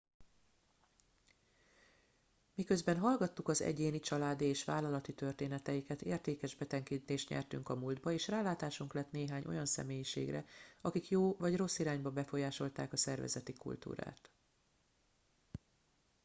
miközben hallgattuk az egyéni családi és vállalati történeteiket értékes betekintést nyertünk a múltba és rálátásunk lett néhány olyan személyiségre akik jó vagy rossz irányba befolyásolták a szervezeti kultúrát